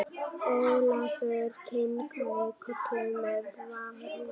Ólafur kinkaði kolli með varúð.